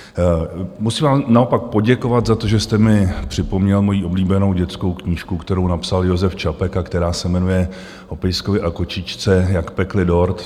Musím vám naopak poděkovat za to, že jste mi připomněl moji oblíbenou dětskou knížku, kterou napsal Josef Čapek a která se jmenuje O pejskovi a kočičce, jak pekli dort.